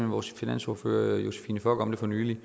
vores finansordfører josephine fock om det for nylig